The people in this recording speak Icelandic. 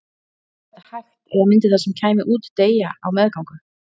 Er þetta hægt eða myndi það sem kæmi út deyja á meðgöngu?